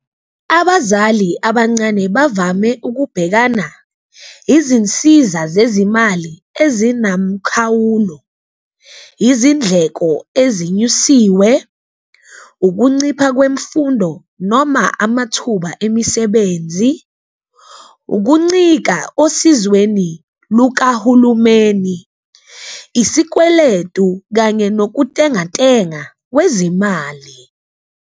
Abazali abancane bavame ukubhekana izinsiza zezimali ezinamkhawulo, izindleko ezinyusiwe, ukuncipha kwemfundo noma amathuba emisebenzi, ukuncika osizweni lukahulumeni, isikweletu kanye nokutengantenga kwezimali.